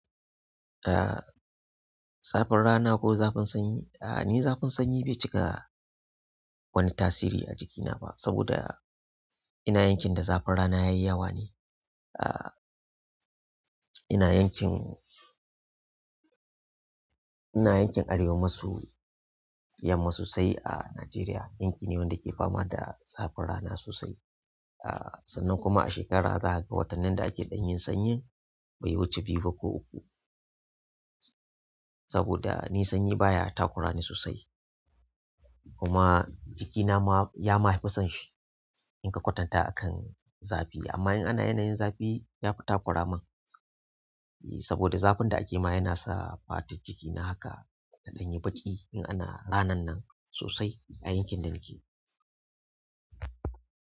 Ah zafin rana ko zafin sanyi. Ah ni zafin sanyi bai cika wani tasiri a jikina ba saboda ina yankin da zafin rana yayi yawa ne. Ina yankin, ina yankin arewa maso yamma sosai a Najeriya. Yanki ne wanda ke fama da zafin rana sosai ah. Sannan kuma a shekarar zaka ga watannin da ake ɗan yin sanyin, bai wuce biyu ba ko uku. Saboda ni sanyi baya takura ni sosai kuma jikina ma ya ma fi son shi in ka kwatanta akan zafi. Amma in ana yanayin zafi ya fi takura min. Saboda zafin da ake ma yana sa fata jikina haka ta ɗanye baki in ana ranan nan sosai a yankin da nake.